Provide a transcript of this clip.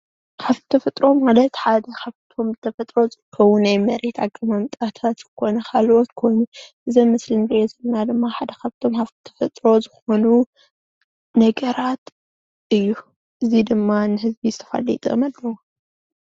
እዚ አብ ምስሊ ንሪኦ ዘለና ካብቶም ሃፍትታት ተፈጥሮታት ሓደ ኾይኑ ንሕብረተሰብና ዓብይ ጥቅሚ ኣለዎ።